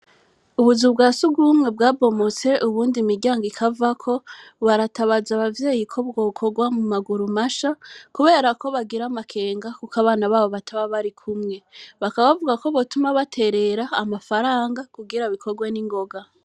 Ubuzu bwa si uga ubumwe bwa bomoser ubundi miryango ikavako baratabaza abavyeyi ko bwokorwa mu maguru masha, kubera ko bagira amakenga, kuko abana babo bataba bari kumwe bakabavuga ko batuma baterera amafaranga kugira bikorwe n'ingoga.